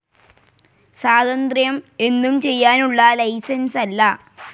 സ്വാതന്ത്ര്യം എന്തും ചെയ്യാനുള്ള ലൈസൻസല്ല.